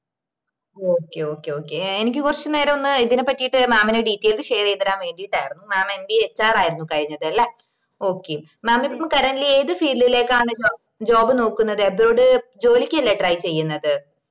okay okay okay എനിക്ക് കൊറച്ചു നേരം ഒന്ന് ഇതിനെ പറ്റിട്ട് mam ന് details share ചെയ്ത് തെരാൻ വേണ്ടീട്ടയർന്ന് mammbahr ആയിര്ന്ന് കഴിഞ്ഞത് ലെ okaymam ഇപ്പൊ currently ഏത് field ലേക്കാണ് job നോക്കുന്നത് abroad ജോലിക്ക്‌ അല്ലേ try ചെയ്യ്ന്നത്